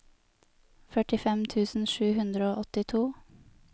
førtifem tusen sju hundre og åttito